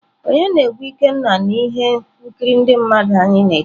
Onye na-egwu ikenga na ihe nkiri ndị mmadụ anyị na-ekiri?.